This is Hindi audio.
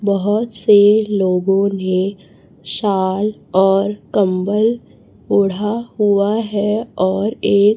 बहोत से लोगों ने शाल और कंबल ओढ़ा हुआ है और एक--